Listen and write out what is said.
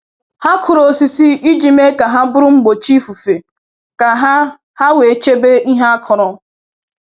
Ha kụrụ osisi iji mee ka ha bụrụ mgbochi ifufe ka ha ha wee chebe ihe a kụrụ